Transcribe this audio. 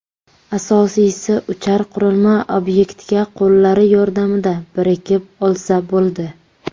Asosiysi, uchar qurilma obyektga qo‘llari yordamida birikib olsa, bo‘ldi.